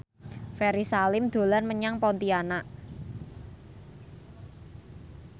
Ferry Salim dolan menyang Pontianak